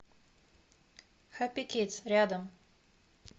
хэппи кидс рядом